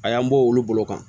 A y'an bɔ olu bolo kan